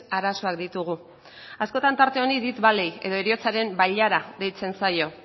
arazoak ditugu askotan tarte honi death valley edo heriotzaren bailara deitzen zaio